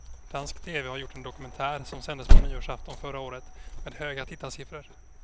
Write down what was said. Dansk tv har gjort en dokumentär som sändes på nyårsafton förra året med höga tittarsiffror.